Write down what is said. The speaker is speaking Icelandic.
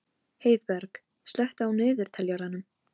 Heiðberg, slökktu á niðurteljaranum.